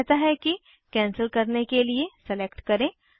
यह कहता है कैंसिल करने के लिए सलेक्ट करें